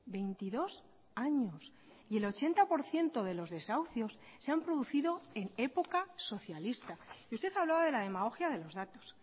veintidós años y el ochenta por ciento de los desahucios se han producido en época socialista y usted hablaba de la demagogia de los datos